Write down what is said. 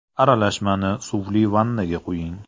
Aralashmani suvli vannaga quying.